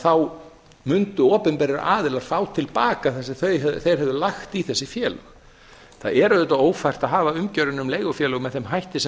þá mundu opinberir aðilar fá til baka það sem þeir hefðu lagt í þessi félög það er auðvitað ófært að hafa umgjörðina um leigufélög með þeim hætti sem